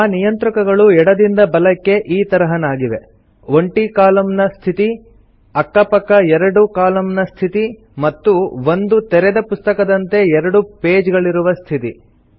ಆ ನಿಯಂತ್ರಕಗಳು ಎಡದಿಂದ ಬಲಕ್ಕೆ ಈ ತರಹನಾಗಿವೆ ಒಂಟಿ ಕಾಲಮ್ ನ ಸ್ಥಿತಿ ಸಿಂಗಲ್ ಕಾಲಮ್ ಮೋಡ್ ಅಕ್ಕ ಪಕ್ಕ ಎರಡು ಕಾಲಮ್ ನ ಸ್ಥಿತಿ ಮತ್ತು ಒಂದು ತೆರೆದ ಪುಸ್ತಕದಂತೆ ಎರಡು ಪೇಜ್ ಗಳಿರುವ ಸ್ಥಿತಿ